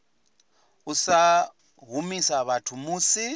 u sa humisa vhathu musi